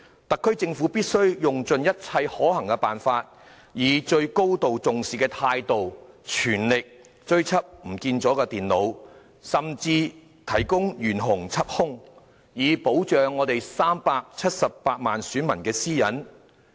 特區政府必須用盡一切可行的辦法，以最高度重視的態度，全力追緝遺失的電腦，甚至懸紅緝兇，以保護我們378萬選民的私隱。